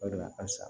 O de la a san